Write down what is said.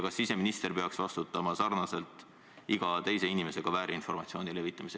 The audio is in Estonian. Kas siseminister peaks vastutama sarnaselt iga teise inimesega väärinformatsiooni levitamise ...